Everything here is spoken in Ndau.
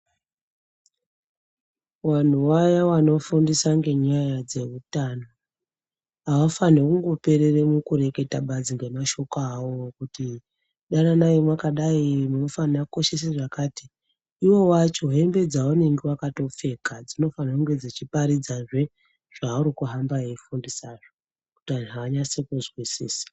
Vanhu vaya vanofundisa ngenyaya dzeutano, avafanirwi kuperera mukureketa badzi ngemashoko awo okuti dananai makadai munofanirwa kukoshesa zvakadai, ivo vacho hembe dzavanenge vakatopfeka dzinofana kuhamba dzeiparidza zvavari kufundisa kuti vanhu vanase kuzwisisa.